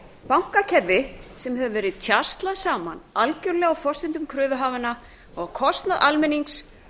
bankakerfi sem hefur verið tjaslað saman algerlega á forsendum kröfuhafanna og á kostnað almennings